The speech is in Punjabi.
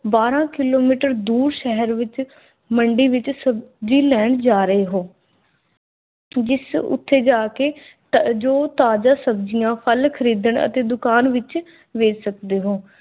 ਬਾਰਾਂ ਕਿਲੋਮੀਟਰ ਦੂਰ ਸ਼ਹਿਰ ਵਿਚ ਮੰਡੀ ਵਿਚ ਸਬਜ਼ੀ ਲੈਣ ਜਾ ਰਹੇ ਓ। ਜਿਸ ਓਥੇ ਜਾਕੇ ਜੋ ਤਾਜ਼ਾ ਸਬਜ਼ੀਆਂ, ਫਲ ਖਰੀਦਣ ਅਤੇ ਦੁਕਾਨ ਵਿਚ ਵੇਚ ਸਕਦੇ ਹੋ।